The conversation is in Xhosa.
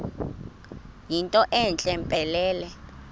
yinto entle mpelele